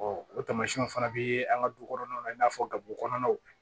o taamasiyɛnw fana bɛ an ka du kɔnɔnaw la i n'a fɔ gawo kɔnɔnaw